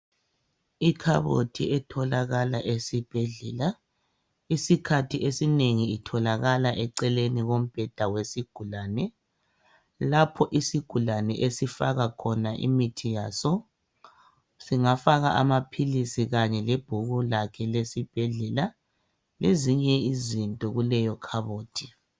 Ikhabothi etholakala esibhedlela kwesinye isikhathi itholakala iseceleni kombeda eceleni kwesigulane lapho isigulane esifaka imithi yaso singafaka amaphilizi kumbe ibhuku lesibhedlela lezinye izinto kuleyo khabothi.